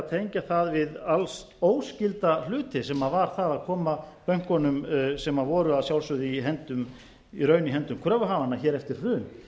tengja það við alls óskylda hluti sem var það að koma bönkunum sem voru að sjálfsögðu í raun í höndum kröfuhafanna hér eftir hrun